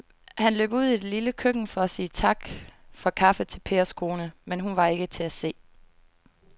Han løb ud i det lille køkken for at sige tak for kaffe til Pers kone, men hun var ikke til at se.